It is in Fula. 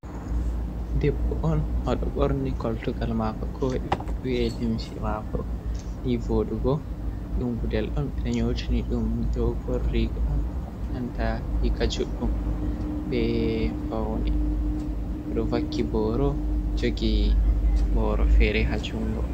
Ɗebbo on oɗo borni koltugal mako ko wi’e limsi mako ni voɗugo. Ɗum guɗel ɗon be nyotini ɗum ɗogon rigo. a nanta riga juɗɗum. be paune oɗo vakki boro jogi boro fere ha jungo.